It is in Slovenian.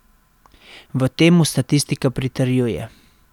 V tem mu statistika pritrjuje.